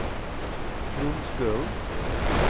Trond Stølen